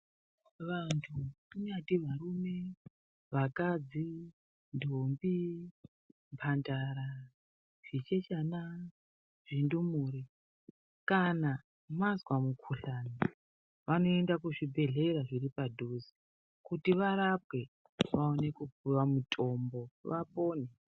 Vandu kungave murume , vakadzi ndombi mhandara zvichechana zvindumurwa kana mazwa mikhuhlani vanoenda kuzvibhedhlera zviri padhuze kuti varapwe vaone kupiwa mutombo vapone.